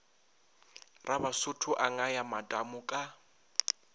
rabasotho a ngaya matamo ka